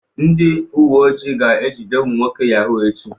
Ndị uwe ojii ga-ejide ụmụ nwoke yahoo echi.